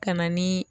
Ka na ni